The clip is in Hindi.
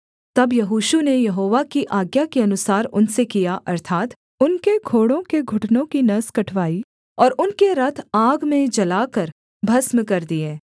तब यहोशू ने यहोवा की आज्ञा के अनुसार उनसे किया अर्थात् उनके घोड़ों के घुटनों की नस कटवाई और उनके रथ आग में जलाकर भस्म कर दिए